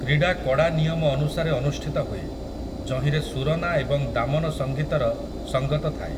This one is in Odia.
କ୍ରୀଡା କଡ଼ା ନିୟମ ଅନୁସାରେ ଅନୁଷ୍ଠିତ ହୁଏ, ଯହିଁରେ ସୁରନା ଏବଂ ଦାମନ ସଙ୍ଗୀତର ସଙ୍ଗତ ଥାଏ ।